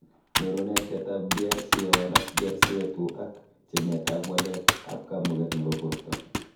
Nyuru naiseetab BRCA1 ak BRCA2 ak tiemet ab waleet ab kamugeet nebo borto